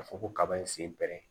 Ka fɔ ko kaba in sen bɛ